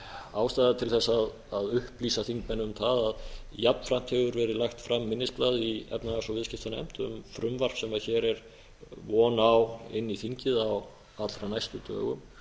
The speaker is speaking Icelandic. ástæða til þess að upplýsa þingmenn um það að jafnframt hefur verið lagt fram minnisblað í efnahags og viðskiptanefnd um frumvarp sem hér er von á inn í þingið á allra næstu dögum og